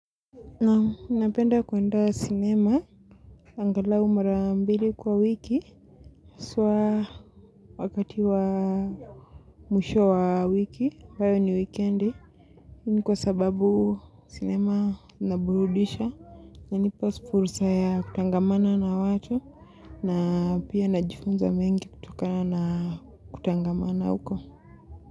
Naam napenda kuenda cinema angalau mara mbili kwa wiki. Haswa wakati wa mwisho wa wiki, ambayo ni wikendi. Ni kwa sababu cinema inaburudisha, inanipa fursa ya kutangamana na watu, na pia najifunza mengi kutokana kutangamana huko.